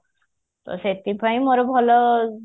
ତ ସେଥିପାଇଁ ମୋର ଭଲ ଆଉ